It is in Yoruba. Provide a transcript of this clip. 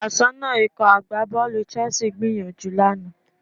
Aṣọ́nà Ikọ̀ agbábọ́ọ̀lù Chelsea gbìyànjú lánàá